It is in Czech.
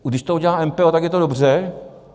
když to udělá MPO tak je to dobře.